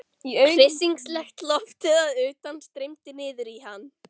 Hryssingslegt loftið að utan streymdi niður í hann.